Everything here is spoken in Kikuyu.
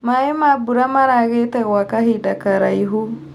Maĩ ma mbura maragĩte gwa kahinda karaihu.